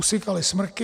Usychaly smrky.